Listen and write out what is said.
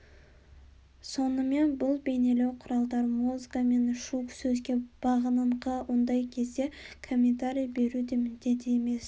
сонымен бұл бейнелеу құралдары музыка мен шу сөзге бағыныңқылы ондай кезде комментарий беру де міндет емес